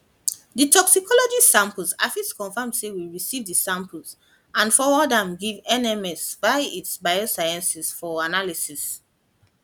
di toxicology samples i fit confam say we receive di samples and forward am give nms via itsi biosciences for analysis